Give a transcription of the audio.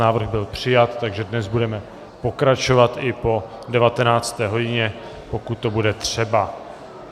Návrh byl přijat, takže dnes budeme pokračovat i po 19. hodině, pokud to bude třeba.